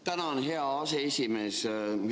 Tänan, hea aseesimees!